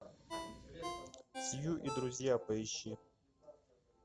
сью и друзья поищи